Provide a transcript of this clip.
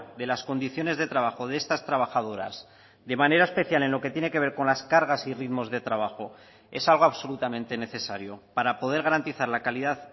de las condiciones de trabajo de estas trabajadoras de manera especial en lo que tiene que ver con las cargas y ritmos de trabajo es algo absolutamente necesario para poder garantizar la calidad